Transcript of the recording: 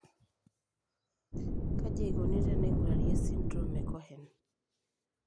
Kaji eikoni teneing'urari esindirom eCohen?